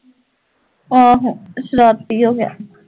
ਆਹੋ ਸ਼ਰਾਰਤੀ ਹੋ ਗਿਆ